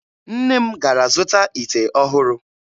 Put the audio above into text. Nne m gara zụta ite ọhụrụ.